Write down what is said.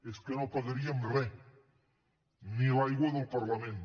és que no pagaríem re ni l’aigua del parlament